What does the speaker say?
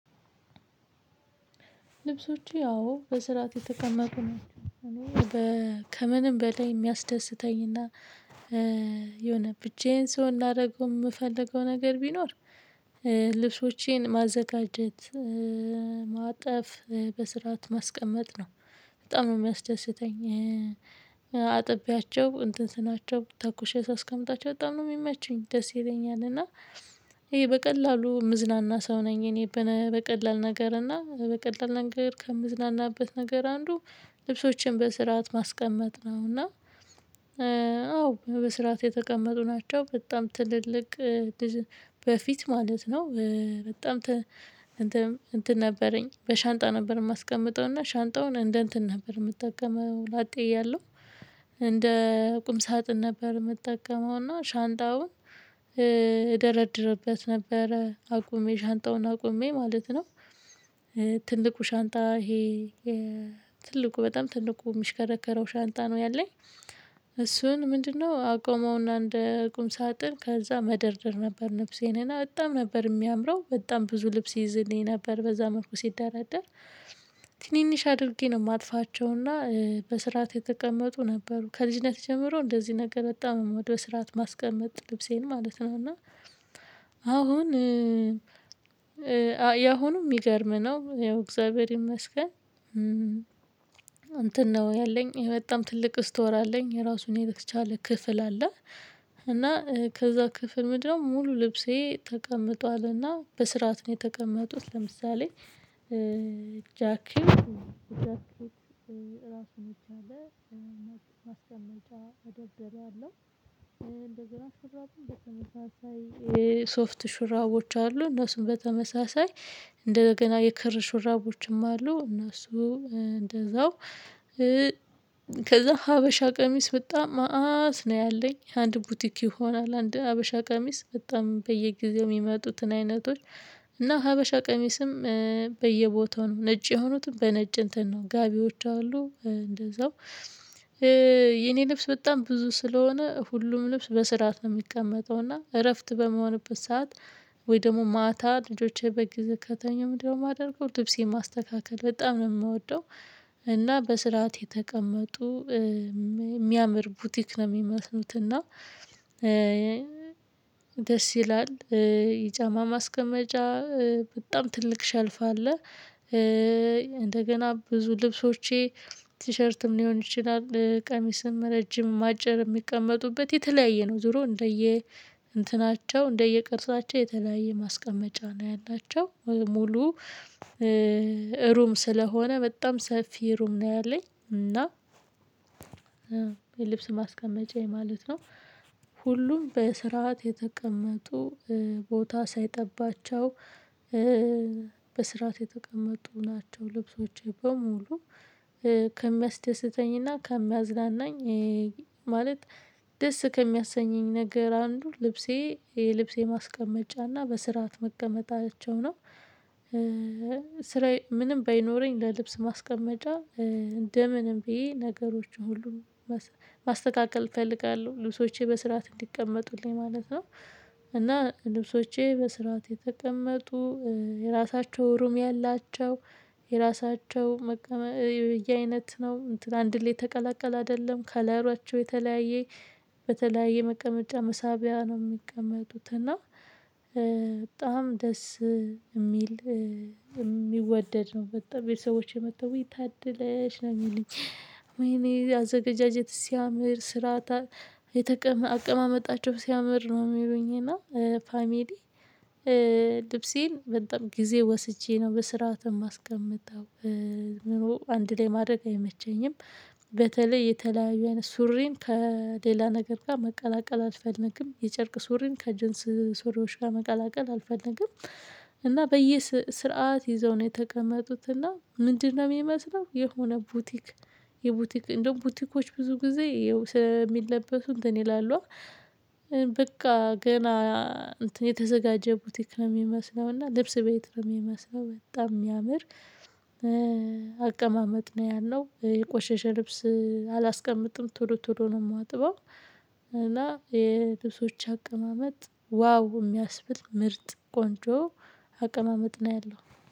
ልብሶቼ አዎ በስርዓት የተቀመጡ ነው። እኔ ከምንም በላይ የሚያስደስተኝና የሆነ ብቻዬን ስሆን ላደርገው የምፈልገው ነገር ቢኖር ልብሶቼን ማዘጋጀት ማጠፍ በስርዓት ማስቀመጥ ነው። በጣም ነው የሚያስደስተኝ አጠቢያቸው እንትን ስናቸው ተኩሼ ሳስቀምጣቸው በጣም ነው የሚመቹኝ ደስ ይለኛል። እና ይሄ በቀላሉ ምዝናና ሰው ነኝ እኔ በቀላል ነገር እና በቀላል ነገር ከምዝናናበት ነገር አንዱ ልብሶችን በስርዓት ማስቀመጥ ነው። እና አዎ በስራት የተቀመጡ ናቸው። በጣም ትልልቅ በፊት ማለት ነው። በጣም እንትን ነበረኝ በሻንጣ ነበር የማስቀምጠው እና ሻንጣውን እንደ እንትን ነበር የምጠቀመው ላጤ እያለሁ እንደ ቁም ሳጥን ነበር የምጠቀመው እና ሻንጣውን እደረድርበት ነበረ አቁሜ ሻንጣውን አቁሜ ማለት ነው። ትልቁ ሻንጣ ይሄ ትልቁ በጣም ትልቁ የሚሽከረከረው ሻንጣ ነው ያለኝ እሱን ምንድነው? አቆመውና እንደ ቁም ሳጥን ከዛ መደርደር ነበር ልብሴን እና በጣም ነበር የሚያምረው በጣም ብዙ ልብስ ይዝልኝ ነበር በዛ መልኩ ሲደራደር። ትንንሽ አድርጌ ነው የማልፋቸው እና በስርዓት የተቀመጡ ነበሩ ከልጅነት ጀምሮ እንደዚህ ነገር በጣም ሞደው በስርዓት ማስቀመጥ ልብሴን ማለት ነው። እና አሁን ያሁኑ ሚገርም ነው ያው እግዚአብሔር ይመስገን። እንትን ነው ያለኝ በጣም ትልቅ ስቶር አለኝ የራሱን የተቻለ ክፍል አለ። እና ከዛ ክፍል ምንድነው ሙሉ ልብሴ ተቀምጧልና በስርዓት ነው የተቀመጡት። ለምሳሌ ጃኪው ጃኪው ራሱን የቻለ ማስቀመጫ ደብደቤ አለው እንደገና ሱራዬን በተመሳሳይ ሶፍት ሹራቦች አሉ እነሱም በተመሳሳይ እንደገና የክር ሹራቦችም አሉ እነሱ እንደዛው። ከዛ ሀበሻ ቀሚስ በጣም መአት ነው ያለኝ አንድ ቡቲክ ይሆናል አንድ ሀበሻ ቀሚስ በጣም በየጊዜው የሚመጡትን አይነቶች። እና ሀበሻ ቀሚስም በየቦታው ነጭ የሆኑትን በነጭ እንትን ነው ጋቢዎች አሉ እንደዛው። የኔ ልብስ በጣም ብዙ ስለሆነ ሁሉም ልብስ በስርዓት ነው የሚቀመጠው እና እረፍት በምሆንበት ሰዓት ወይ ደግሞ ማታ ልጆቼ በግዜ ከተኙም ምንድነው? የማደርገው ልብሴን ማስተካከል በጣም ነው የምወደው። እና በስርዓት የተቀመጡ የሚያምር ቡቲክ ነው የሚመስሉት። እና ደስ ይላል። የጫማ ማስቀመጫ በጣም ትልቅ ሸልፋ አለ። እንደገና ብዙ ልብሶቼ ቲሸርትም ሊሆን ይችላል ቀሚስም ረጅምም አጨርም የሚቀመጡበት የተለያየ ነው ዙሮ እንደየ እንትናቸው እንደየቅርሳቸው የተለያየ ማስቀመጫ ነው። ያላቸው ሙሉ ሩም ስለሆነ በጣም ሰፊ ሩም ነው ያለኝ። እና የልብስ ማስቀመጫዬ ማለት ነው። ሁሉም በስርዓት የተቀመጡ ቦታ ሳይጠባቸው በስርዓት የተቀመጡ ናቸው። ልብሶቼ በሙሉ ከሚያስደስተኝና ከሚያዝናናኝ ማለት ደስ ከሚያሰኘኝ ነገር አንዱ ልብሴ የልብሴ ማስቀመጫና በስርዓት መቀመጣቸው ነው። ስራዬ ምንም ባይኖረኝ ለልብስ ማስቀመጫ እንደ ምንም ብዬ ነገሮችን ሁሉንም ማስተካከል እፈልጋለሁ ልብሶቼ በስርዓት እንዲቀመጡልኝ ማለት ነው። እና ልብሶቼ በስርዓት የተቀመጡ የራሳቸው ሩም ያላቸው የራሳቸው መቀመ በየአይነት ነው አንድ ላይ ተቀላቀለ አይደለም ከለሯቸው የተለያየ በተለያየ መቀመጫ መሳቢያ ነው የሚቀመጡት። እና በጣም ደስ የሚል የሚወደድ ነው። በጣም ቤተሰቦቼ መጥተው ውይ ታደለሽ ነው የሚለኝ ወይኔ አዘጋጃጀትሽ ሲያምር ስራታ የተቀመ አቀማመጣቸው ሲያምር ነው የሚሉኝ። እና ፋሚሊ ልብሴን በጣም ጊዜ ወስጄ ነው በስርዓት ማስቀመጠው። ምኑ አንድ ላይ ማድረግ አይመቸኝም። በተለይ የተለያዩ ሱሪን ከሌላ ነገር ጋር መቀላቀል አልፈልግም የጨርቅ ሱሪን ከጀንስ ሱሪዎች ጋር መቀላቀል አልፈለግም። እና በየ ስርዓት ይዘው ነው የተቀመጡት እና ምንድነው? የሚመስለው የሆነ ቡቲክ የቡቲክ እንደውም ቡቲኮች ብዙ ጊዜ ይኸው ስለሚለበሱ እንትን ይላሉ። በቃ ገና እንትን የተዘጋጀ ቡቲክ ነው የሚመስለው። እና ልብስ ቤት ነው የሚመስለው። በጣም የሚያምር አቀማመጥ ነው ያለው። የቆሸሸ ልብስ አላስቀምጥም ቶሎ ቶሎ ነው የማጥበው። እና የልብሶች አቀማመጥ ዋው የሚያስብል ምርጥ ቆንጆ አቀማመጥ ነው ያለው